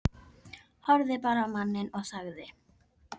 Horfði bara á manninn og þagði.